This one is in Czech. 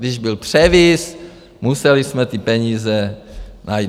Když byl převis, museli jsme ty peníze najít.